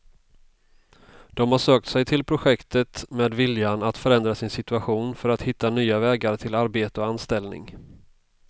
De har sökt sig till projektet med viljan att förändra sin situation för att hitta nya vägar till arbete och anställning.